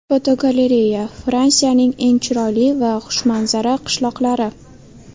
Fotogalereya: Fransiyaning eng chiroyli va xushmanzara qishloqlari.